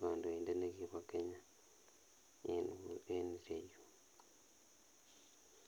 kondoindet nekibo Kenya en ireyuu.